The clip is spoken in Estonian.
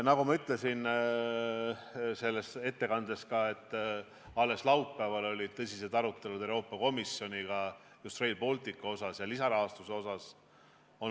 Nagu ma oma ettekandes ütlesin, toimusid alles laupäeval Euroopa Komisjoniga tõsised arutelud just Rail Balticu ja lisarahastuse üle.